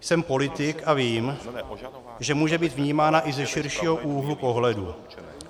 Jsem politik a vím, že může být vnímána i ze širšího úhlu pohledu.